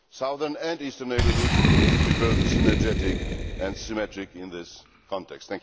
The southern and eastern neighbourhoods should be both synergetic and symmetric in this context.